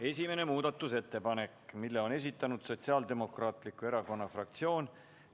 Esimese muudatusettepaneku on esitanud Sotsiaaldemokraatliku Erakonna fraktsioon.